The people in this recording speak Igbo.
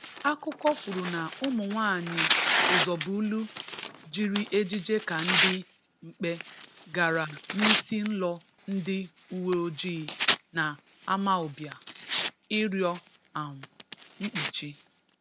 "Ákụ́kọ̀ kwùrù na ụmụ̀nwáànyị Ụzọ̀bụ̀lù jiri ejiji ka ndị mkpè gara n’ísí ǹlò ndị uweojị na Amawbịa ịrịọ um mkpuchi."